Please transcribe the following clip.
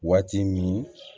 Waati min